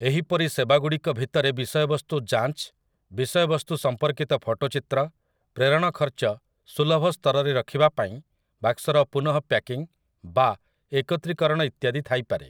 ଏହିପରି ସେବାଗୁଡିକ ଭିତରେ ବିଷୟବସ୍ତୁ ଯାଞ୍ଚ, ବିଷୟବସ୍ତୁସମ୍ପର୍କିତ ଫଟୋଚିତ୍ର, ପ୍ରେରଣ ଖର୍ଚ୍ଚ ସୁଲଭ ସ୍ତରରେ ରଖିବା ପାଇଁ ବାକ୍ସର ପୁନଃ ପ୍ୟାକିଂ ବା 'ଏକତ୍ରିକରଣ' ଇତ୍ୟାଦି ଥାଇପାରେ ।